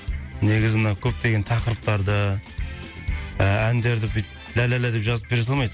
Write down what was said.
негізі мына көптеген тақырыптарды әндерді бүйтіп лә лә лә деп жазып бере салмайды